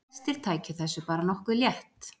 Flestir tækju þessu bara nokkuð létt